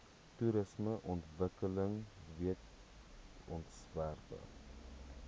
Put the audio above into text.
toerismeontwikkelingwetsontwerpe